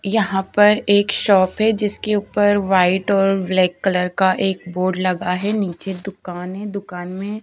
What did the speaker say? यहाँ पर एक शॉप है जिसके ऊपर व्हाइट और ब्लैक कलर का एक बोर्ड लगा है नीचे दुकान है दुकान में --